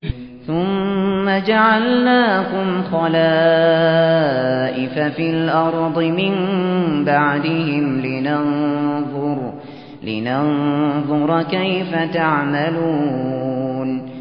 ثُمَّ جَعَلْنَاكُمْ خَلَائِفَ فِي الْأَرْضِ مِن بَعْدِهِمْ لِنَنظُرَ كَيْفَ تَعْمَلُونَ